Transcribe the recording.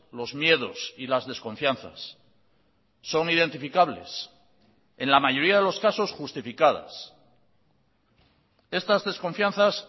los miedos y las desconfianzas son identificables en la mayoría de los casos justificadas estas desconfianzas